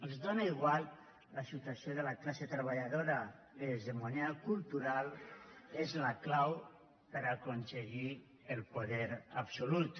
els és igual la situació de la classe treballadora l’hegemonia cultural és la clau per a aconseguir el poder absolut